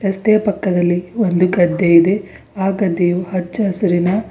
ರಸ್ತೆಯ ಪಕ್ಕದಲ್ಲಿ ಒಂದು ಗದ್ದೆ ಇದೆ ಆ ಗದ್ದೆಯು ಹಚ್ಚಹಸಿರಿನ--